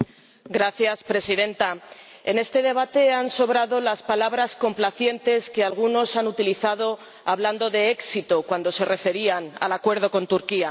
Señora Presidenta, en este debate han sobrado las palabras complacientes que algunos han utilizado hablando de éxito cuando se referían al acuerdo con Turquía.